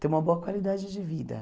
Ter uma boa qualidade de vida.